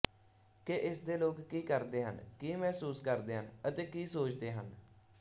ਕਿ ਇਸਦੇ ਲੋਕ ਕਿ ਕਰਦੇ ਹਨ ਕਿ ਮਹਿਸੂਸ ਕਰਦੇ ਹਨ ਅਤੇ ਕਿ ਸੋਚਦੇ ਹਨ